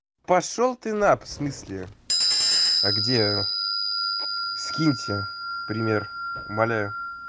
пошёл ты на в смысле а где скиньте пример умоляю